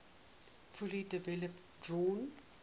fully developed drawn